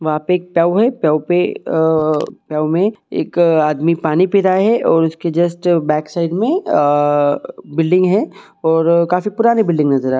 वहाँ पे एक टब है टब में आ टब पे एक आदमी पानी पी रहा हैऔर उसके जस्ट बैक साइड में आ बिलडिंग है और काफी पुरानी बिलडिंग नजर--